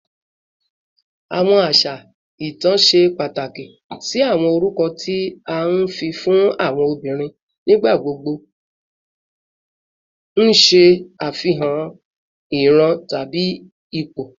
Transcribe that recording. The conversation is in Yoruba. Awọn aṣa itan ṣe pataki si awọn orukọ ti a fi fun awọn obinrin, nigbagbogbo n ṣe afihan iran tabi ipo